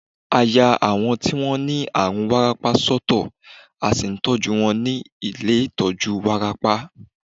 À yá àwọn tí wọ́n ní àrùn wárápá sọ́tọ̀, à sì ń tọ́jú wọn ní ilé ìtọjú wárápá.